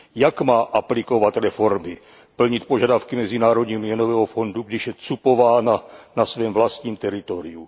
Jak má aplikovat reformy, plnit požadavky Mezinárodního měnového fondu, když je cupována na svém vlastním teritoriu?